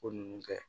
Ko ninnu kɛ